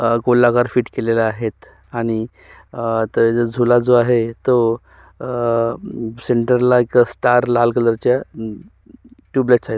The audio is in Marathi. आ गोलाकार फिट केलेले आहेत आणि आ तो झूला जो आहे तो अ सेंटरला एक स्टार लाल कलर च्या टुब लाइट्स आहेत.